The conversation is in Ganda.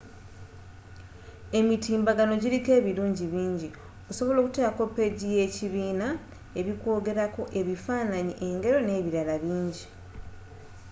emitimbbagano giliko ebirungi bingi osobola okutekako peegi yekibiina, ebikwogerako ebifananyi engero n’ebilala bingi